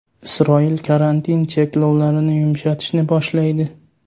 Isroil karantin cheklovlarini yumshatishni boshlaydi.